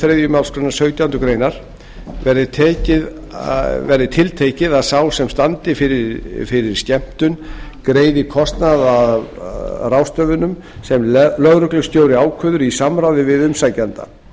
þriðju málsgrein sautjándu grein verði tiltekið að sá sem standi fyrir skemmtun greiði kostnað af ráðstöfunum sem lögreglustjóri ákveður í samráði við umsækjanda